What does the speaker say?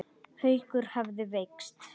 Haukur hefðu veikst.